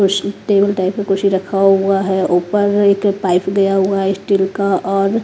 कुश table type का कुश रखा हुआ है ऊपर एक पाइप गया हुआ है स्टील का और --